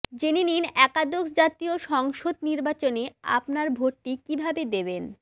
জেনে নিন একাদশ জাতীয় সংসদ নির্বাচনে আপনার ভোটটি কিভাবে দিবেন